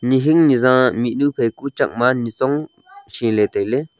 nihing nija miknu pheku chakma nichong shiley tailey.